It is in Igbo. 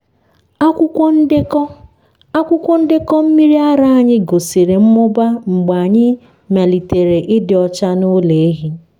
akwụkwọ ndekọ akwụkwọ ndekọ mmiri ara anyị gosiri mmụba mgbe anyị melitere ịdị ọcha n’ụlọ ehi.